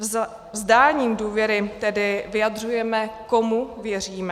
Vzdáním důvěry tedy vyjadřujeme, komu věříme.